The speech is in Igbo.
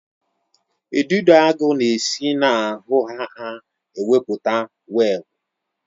Udidoagu na-esi na ahụ ha emepụta webụ